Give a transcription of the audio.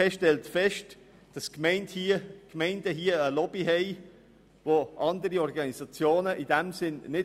Die EVP stellt fest, dass die Gemeinden eine Lobby haben, was nicht bei allen Organisationen der Fall ist.